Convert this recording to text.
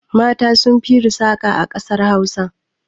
Mata sun fi yin saƙa a ƙasar Hausa.